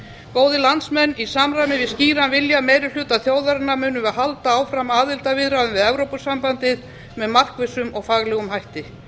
góðir landsmenn í samræmi við skýran vilja meirihluta þjóðarinnar munum við halda áfram aðildarviðræðum við evrópusambandið með markvissum og faglegum hætti